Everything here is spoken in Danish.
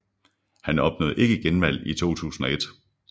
Han opnåede ikke genvalg i 2001